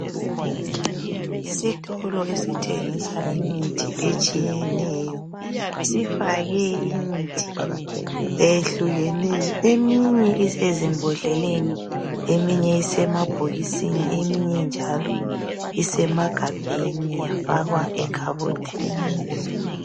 Isitolo esithengisa imithi etshiyeneyo sifake imithi eyehlukeneyo eminye isezimbodleleni eminye isemabhokisini eminye njalo isemagabheni yafakwa ekhabothini.